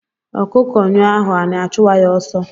Akụkọ nyọ ahọ anị achụwa ya ọsọ